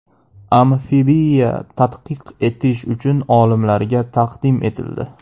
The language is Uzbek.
Amfibiya tadqiq etish uchun olimlarga taqdim etildi.